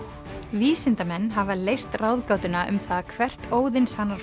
vísindamenn hafa leyst ráðgátuna um það hvert